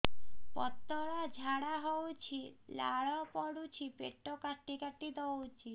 ପତଳା ଝାଡା ହଉଛି ଲାଳ ପଡୁଛି ପେଟ କାଟି କାଟି ଦଉଚି